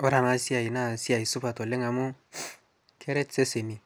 kore anaa siai naa siai supat oleng amuu keret seseni